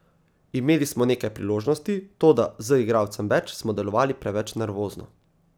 Imeli smo nekaj priložnosti, toda z igralcem več smo delovali preveč nervozno.